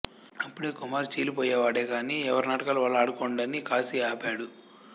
అప్పుడే కుమార్ చీలిపోయేవాడే గాని ఎవరి నాటకాలు వాళ్ళు ఆడుకోండని కాశీ ఆపాడు